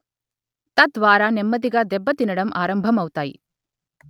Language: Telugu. తద్వారా నెమ్మదిగా దెబ్బతినడం ఆరంభమవుతాయి